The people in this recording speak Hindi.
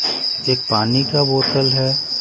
एक पानी का बोतल हैं ।